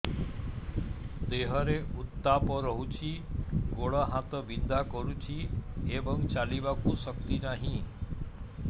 ଦେହରେ ଉତାପ ରହୁଛି ଗୋଡ଼ ହାତ ବିନ୍ଧା କରୁଛି ଏବଂ ଚାଲିବାକୁ ଶକ୍ତି ନାହିଁ